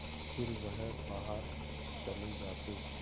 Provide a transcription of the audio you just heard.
फिर वह बाहर चले जाते